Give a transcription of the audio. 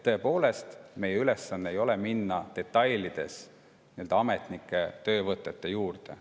Tõepoolest, meie ülesanne ei ole minna detailides nende ametnike töövõtete kallale.